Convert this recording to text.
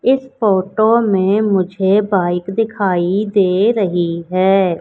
इस फोटो में मुझे बाइक दिखाई दे रही है।